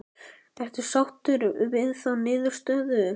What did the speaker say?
Ertu sáttur við þá niðurstöðu?